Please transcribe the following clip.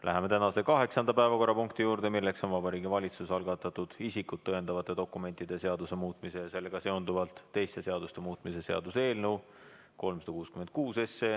Läheme tänase kaheksanda päevakorrapunkti juurde, milleks on Vabariigi Valitsuse algatatud isikut tõendavate dokumentide seaduse muutmise ja sellega seonduvalt teiste seaduste muutmise seaduse eelnõu 366.